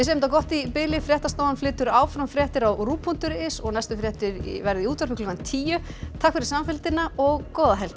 þetta gott í bili fréttastofan flytur áfram fréttir á ruv punktur is og næstu fréttir verða í útvarpi klukkan tíu takk fyrir samfylgdina og góða helgi